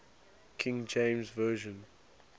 king james version